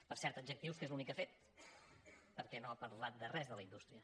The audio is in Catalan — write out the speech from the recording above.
per cert adjectius que és l’únic que ha fet perquè no ha parlat de res de la indústria